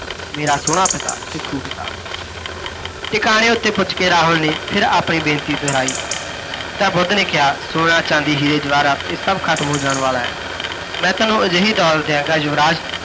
ਮੇਰਾ ਸੋਹਣਾ ਪਿਤਾ, ਭਿੱਖੂ ਪਿਤਾ। ਟਿਕਾਣੇ ਉੱਤੇ ਪੁੱਜ ਕੇ ਰਾਹੁਲ ਨੇ ਫਿਰ ਆਪਣੀ ਬੇਨਤੀ ਦੁਹਰਾਈ, ਤਾਂ ਬੁੱਧ ਨੇ ਕਿਹਾ ਸੋਨਾ ਚਾਂਦੀ ਹੀਰੇ ਜਵਾਹਰਾਤ, ਇਹ ਸਭ ਖਤਮ ਹੋ ਜਾਣ ਵਾਲਾ ਹੈ, ਮੈਂ ਤੈਨੂੰ ਅਜਿਹੀ ਦੌਲਤ ਦਿਆਂਗਾ ਯੁਵਰਾਜ